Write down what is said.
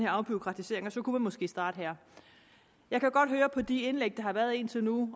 afbureaukratisering og så kunne man måske starte her jeg kan godt høre på de indlæg der har været indtil nu